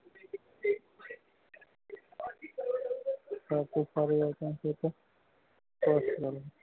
હાટ